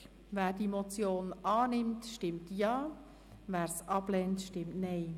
Wer die Motion annimmt, stimmt Ja, wer diese ablehnt, stimmt Nein.